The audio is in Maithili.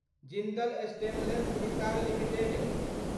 Jindal stainless Hisar limited